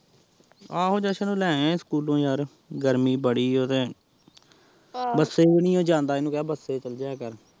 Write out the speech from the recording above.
ਆਹੋ ਜਸ਼ਨ ਨੂੰ ਲੈ ਆਏ ਸੀ ਸਕਹੂਲੋਂ ਯਾਰ, ਗਰਮੀ ਬੜੀ ਓਹ ਤੇ ਬਸੇ ਵੀ ਨੀ ਉਹ ਜਾਂਦਾ ਓਹਨੂ ਕਿਹਾ ਬਸੇ ਚੱਲ ਜਿਹਾ ਕਰ